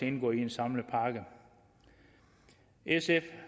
indgå i en samlet pakke sf